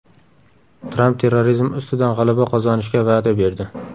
Tramp terrorizm ustidan g‘alaba qozonishga va’da berdi.